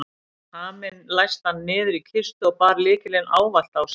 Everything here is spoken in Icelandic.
Haminn læsti hann niður í kistu og bar lykilinn ávallt á sér.